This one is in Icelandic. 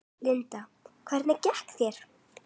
Linda: Hvernig gekk þér?